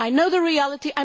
I know the reality.